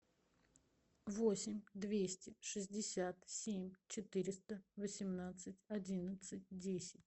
восемь двести шестьдесят семь четыреста восемнадцать одиннадцать десять